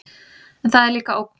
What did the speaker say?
En það er líka ógn.